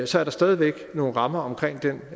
så er der stadig væk nogle rammer omkring den